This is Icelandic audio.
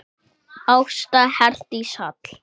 Ásta Herdís Hall.